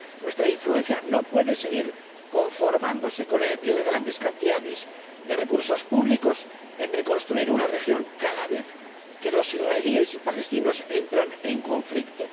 Nuestra influencia no puede seguir conformándose con el envío de grandes cantidades de recursos públicos para reconstruir una región cada vez que los israelíes y los palestinos entran en conflicto.